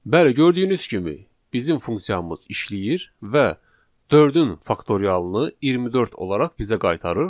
Bəli, gördüyünüz kimi, bizim funksiyamız işləyir və dördün faktorialını 24 olaraq bizə qaytarır.